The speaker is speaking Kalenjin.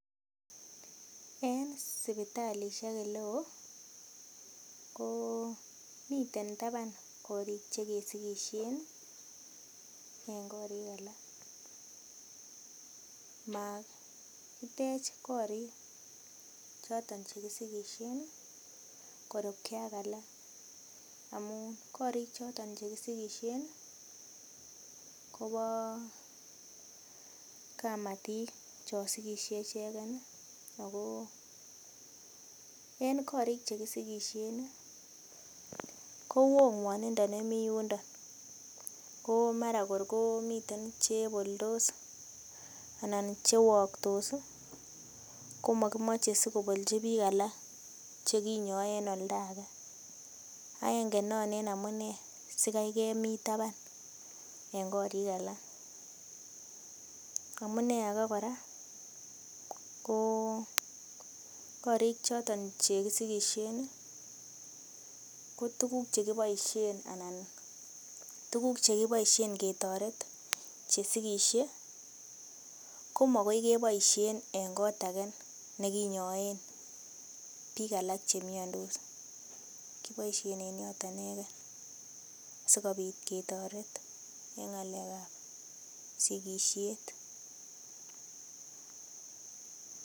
En sipitalisiek ele oo komiten taban korik che kesigisien en korik alak, makitech korik choton che kisigisien korupge ak alak, amun korik choto che kisigisien kobo kamatik chon sigisie ichegen, ago en korik che kisigisien ko woo ng'wonindo nemi yundo, ko mara kor komi cheboldos anan che waktos komakimache sikobolchi biik alak che kinyoe en oldo age. Agenge non ene amune sikai komi taban en korik alak. Amune age kora, ko korik choton che kisigisien ko tuguk che kiboisien ketoret che sigisie komagoi keboishen en kot age nekinyoen biik alak che miandos, kiboishen en yoto inegen sikobit ketoret en ng'alekab sigisiet.